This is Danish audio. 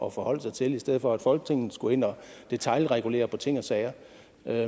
at forholde sig til i stedet for at folketinget skal ind og detailregulere på ting og sager